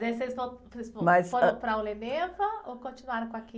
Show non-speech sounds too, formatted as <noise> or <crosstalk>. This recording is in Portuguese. E aí vocês, <unintelligible> vocês vol...as, ãh.oram para <unintelligible> ou continuaram com a? <unintelligible>